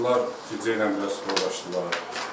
Bunlar küçə ilə biraz soruşdular.